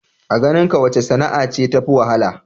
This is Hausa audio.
A ganinka wace sana'a ce tafi wahala?